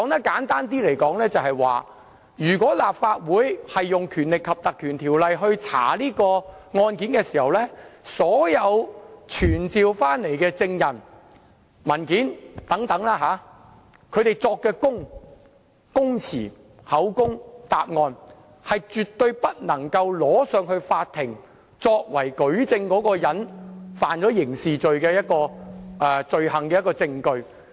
簡單來說，如果立法會引用《條例》調查案件，所有傳召的證人所作的供詞、口供或答案，以及提供的文件，是絕對不能呈交法庭作為疑犯觸犯刑事罪行的證據。